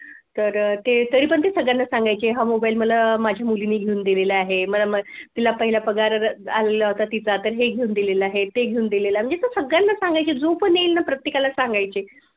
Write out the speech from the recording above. तर अह तरीपण ते सगळ्यांना सांगायचे की हा मोबाईल मला माझ्या मुलीने घेऊन दिलेला आहे. मला म तिला पहिला पगार आलेला होता तिचा तर हे घेऊन दिलेल आहे ते घेऊन दिलेल आहे म्हणजे असं सगळ्यांना सांगायचे जो पण येईल ना प्रत्येकाला सांगायचे.